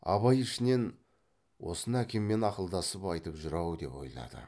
абай ішінен осыны әкеммен ақылдасып айтып жүр ау деп ойлады